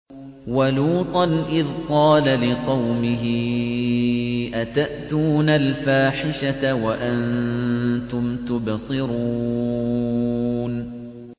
وَلُوطًا إِذْ قَالَ لِقَوْمِهِ أَتَأْتُونَ الْفَاحِشَةَ وَأَنتُمْ تُبْصِرُونَ